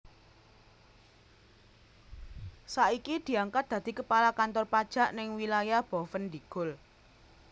Saiki diangkat dadi kepala kantor pajak ning wilayah Boven Digul